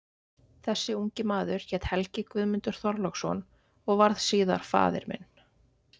Þessi ungi maður hét Helgi Guðmundur Þorláksson og varð síðar faðir minn.